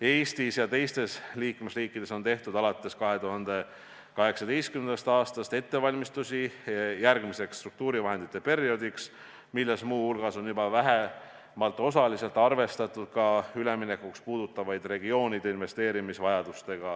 Eestis ja teistes liikmesriikides on alates 2018. aastast tehtud ettevalmistusi järgmiseks struktuurivahendite perioodiks, mille raames on muu hulgas vähemalt osaliselt arvestatud ka üleminekuga seotud regioonide investeerimisvajadusi.